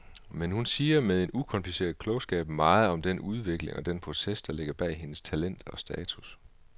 Men hun siger med en ukompliceret klogskab meget om den udvikling og den proces, der ligger bag hendes talent og status.